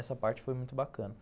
Essa parte foi muito bacana.